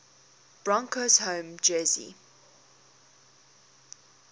broncos home jersey